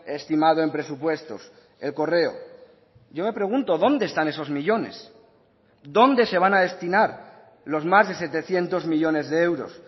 estimado en presupuestos el correo yo me pregunto dónde están esos millónes dónde se van a destinar los más de setecientos millónes de euros